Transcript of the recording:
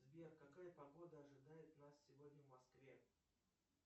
сбер какая погода ожидает нас сегодня в москве